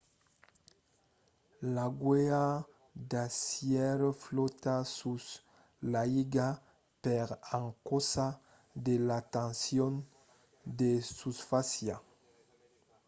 l'agulha d'acièr flòta sus l'aiga per encausa de la tension de susfàcia